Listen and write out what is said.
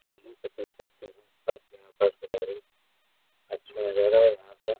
जम्मू कश्मीर का सीन है साथ में यहाँ बर्फ़बारी। अच्छा नज़ारा है यहाँ पर।